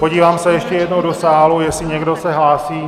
Podívám se ještě jednou do sálu, jestli se někdo hlásí.